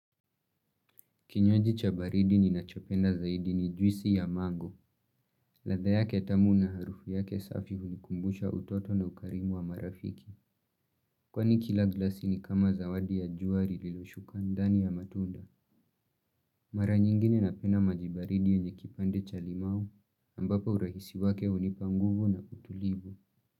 Kinywaji cha baridi ninachopenda zaidi ni juisi ya mango. Ladha yake tamu na harufu yake safi hunikumbusha utoto na ukarimu wa marafiki. Kwani kila glasi ni kama zawadi ya jua lililoshuka ndani ya matunda. Mara nyingine napenda maji baridi yenye kipande cha limau, ambapo urahisi wake hunipa nguvu na utulivu.